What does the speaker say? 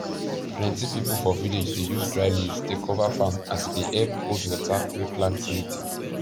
plenty people for village dey use dry leaves dey cover farm as e dey help hold water wey plant need